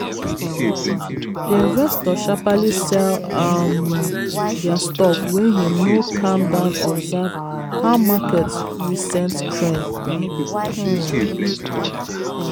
the investor sharperly sell um their stock wey him no calm down observe how market recent trend be um